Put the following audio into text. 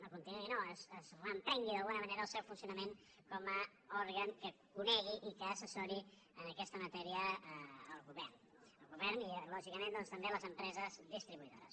no continuï no es reprengui d’alguna manera el seu funcionament com a òrgan que conegui i que assessori en aquesta matèria al govern al govern i lògicament doncs també a les empreses distribuïdores